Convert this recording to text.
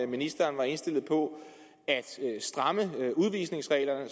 ministeren er indstillet på at stramme udvisningsreglerne